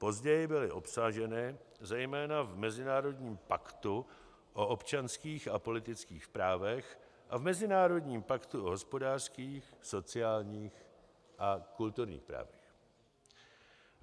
Později byly obsaženy zejména v Mezinárodním paktu o občanských a politických právech a v Mezinárodním paktu o hospodářských, sociálních a kulturních právech.